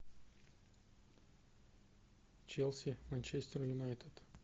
челси манчестер юнайтед